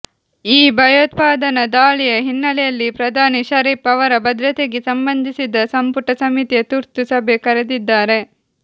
ಈ ಭಯೋತ್ಪಾದನಾ ದಾಳಿಯ ಹಿನ್ನೆಲೆಯಲ್ಲಿ ಪ್ರಧಾನಿ ಷರೀಫ್ ಅವರ ಭದ್ರತೆಗೆ ಸಂಬಂಧಿಸಿದ ಸಂಪುಟ ಸಮಿತಿಯ ತುರ್ತು ಸಭೆ ಕರೆದಿದ್ದಾರೆ